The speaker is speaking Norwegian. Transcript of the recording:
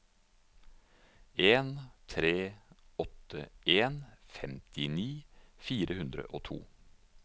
en tre åtte en femtini fire hundre og to